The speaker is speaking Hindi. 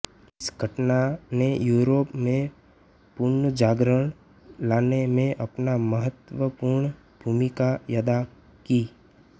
इस घटना ने यूरोप में पुनर्जागरण लाने में अपना महत्वपूर्ण भूमिका अदा की